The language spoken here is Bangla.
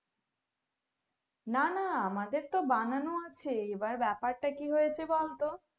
না না আমাদের তো বানানো আছে এবার ব্যাপারটা কি হয়েছে বলতো